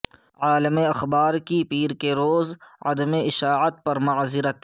عالمی اخبار کی پیر کےروز کی عدم اشاعت پر معذرت